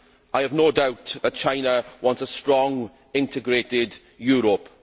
I have no doubt that China wants a strong, integrated Europe.